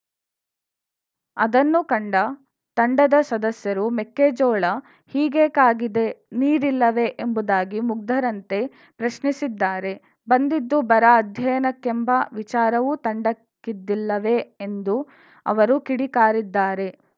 ಅದನ್ನು ಕಂಡ ತಂಡದ ಸದಸ್ಯರು ಮೆಕ್ಕೆಜೋಳ ಹೀಗೇಕಾಗಿದೆ ನೀರಿಲ್ಲವೇ ಎಂಬುದಾಗಿ ಮುಗ್ಧರಂತೆ ಪ್ರಶ್ನಿಸಿದ್ದಾರೆ ಬಂದಿದ್ದು ಬರ ಅಧ್ಯಯನಕ್ಕೆಂಬ ವಿಚಾರವೂ ತಂಡಕ್ಕಿದ್ದಿಲ್ಲವೇ ಎಂದು ಅವರು ಕಿಡಿಕಾರಿದ್ದಾರೆ